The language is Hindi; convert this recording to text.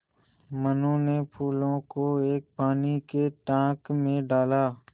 मनु ने फूलों को एक पानी के टांक मे डाला